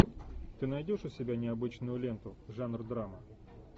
ты найдешь у себя необычную ленту жанр драма